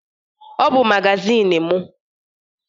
Ọ bụ magazịnị m.